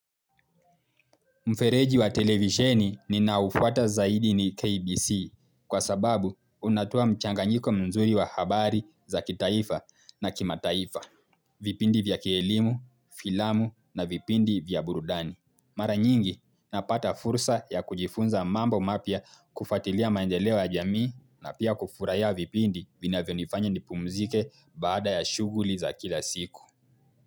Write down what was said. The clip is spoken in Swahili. Mfereji wa televisheni ninaoufuata zaidi ni KBC kwa sababu unatoa mchanganyiko mzuri wa habari za kitaifa na kimataifa. Vipindi vya kielimu, filamu na vipindi vya burudani. Mara nyingi napata fursa ya kujifunza mambo mapya kufuatilia maendeleo ya jamii na pia kufurahia vipindi vinavyonifanya nipumzike baada ya shughuli za kila siku.